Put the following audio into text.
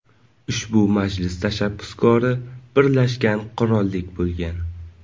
Ushbu majlis tashabbuskori Birlashgan qirollik bo‘lgan.